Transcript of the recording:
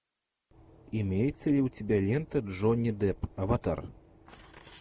имеется ли у тебя лента джонни депп аватар